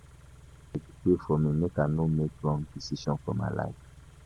Abeg, pray for me make I no make wrong decision for my life.